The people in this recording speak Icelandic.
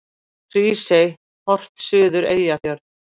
Hrísey, horft suður Eyjafjörð.